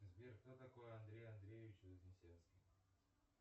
сбер кто такой андрей андреевич вознесенский